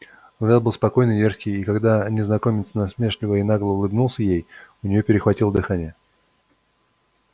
взгляд был спокойный и дерзкий и когда незнакомец насмешливо и нагло улыбнулся ей у нее перехватило дыхание